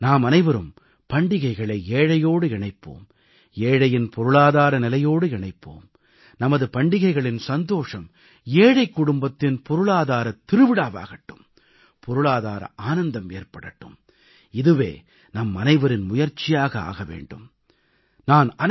வாருங்கள் நாம் அனைவரும் பண்டிகைகளை ஏழையோடு இணைப்போம் ஏழையின் பொருளாதார நிலையோடு இணைப்போம் நமது பண்டிகைகளின் சந்தோஷம் ஏழைக் குடும்பத்தின் பொருளாதாரத் திருவிழாவாகட்டும் பொருளாதார ஆனந்தம் ஏற்படட்டும் இதுவே நம்மனைவரின் முயற்சியாக ஆக வேண்டும்